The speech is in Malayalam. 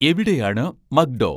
എവിടെയാണ് മക്ഡോ